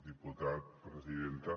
diputat presidenta